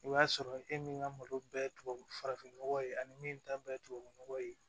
I b'a sɔrɔ e min ka malo bɛɛ ye tubabu nɔgɔ ye ani min ta bɛɛ ye tubabu nɔgɔ ye